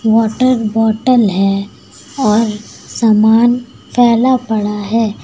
Water bottle है और सामान फैला पड़ा है।